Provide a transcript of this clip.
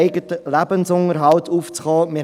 Wir haben es von Sarah Gabi gehört und wissen es: